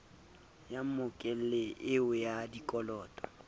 ya mmokelli eo wa dikoloto